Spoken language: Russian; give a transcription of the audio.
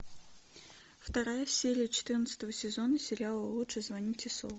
вторая серия четырнадцатого сезона сериала лучше звоните солу